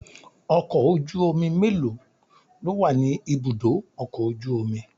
Ọkọ̀ ojú omi mélòó lówà ni ibùdó ọkọ̀ ojú omi?